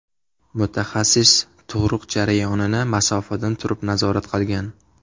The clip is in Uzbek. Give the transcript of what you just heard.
Mutaxassis tug‘ruq jarayonini masofadan turib nazorat qilgan.